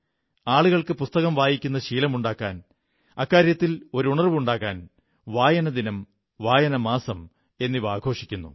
ആളുകൾക്ക് പുസ്തകം വായിക്കുന്ന ശീലമുണ്ടാകാൻ അക്കാര്യത്തിൽ ഒരു ഉണർവ്വുണ്ടാകാൻ വായനദിനം വായനമാസം എന്നിവ ആഘോഷിക്കുന്നു